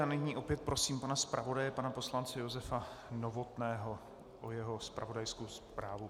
A nyní opět prosím pana zpravodaje pana poslance Josefa Novotného o jeho zpravodajskou zprávu.